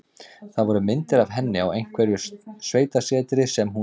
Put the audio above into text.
Það voru myndir af henni á einhverju sveitasetri sem hún á.